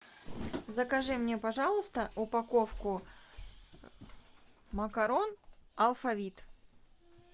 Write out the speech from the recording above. закажи мне пожалуйста упаковку макарон алфавит